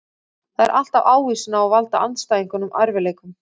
Það er alltaf ávísun á að valda andstæðingunum erfiðleikum.